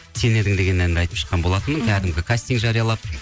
сен едің деген әнді айтып шыққан болатынмын кәдімгі кастинг жариялап